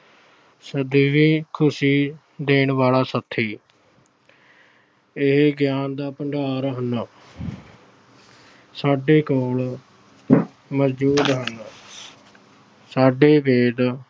ਸਦੀਵੀਂ ਖੁਸ਼ੀ ਦੇਣ ਵਾਲਾ ਸਾਥੀ ਇਹ ਗਿਆਨ ਦਾ ਭੰਡਾਰ ਹਨ। ਸਾਡੇ ਕੋਲ ਮੌਜੂਦ ਹਨ। ਸਾਡੇ ਵੇਦ,